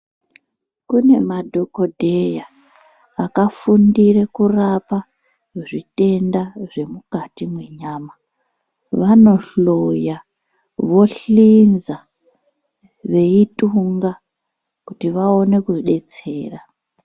Kune madhokodheya aka fundire kurapa zvitenda zve mukati me nyama vano hloya vo hlinza veyi tunga kuti vaone ku detsera.